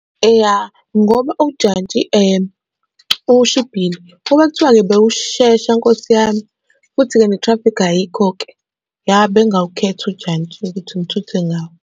Eya ngoba ujantshi ushibhile, ukuba kuthiwa-ke bewushesha Nkosi yami, futhi-ke ne-traffic ayikho-ke, ya bengingawukhetha ujantshi ukuthi ngithuthe ngawo.